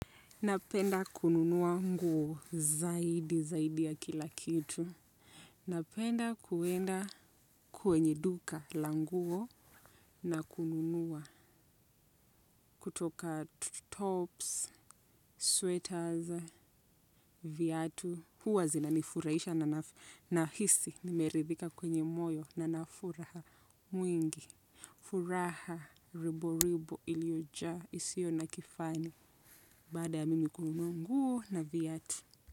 Napenda kununua nguo zaidi zaidi ya kila kitu. Napenda kuenda kwenye duka la nguo na kununua kutoka tops, sweaters, viatu. Huwa zinanifurahisha na nahisi nimeridhika kwenye moyo na na furaha mwingi. Furaha ribo ribo ilioja isio na kifani baada ya mimi kununua nguo na viatu.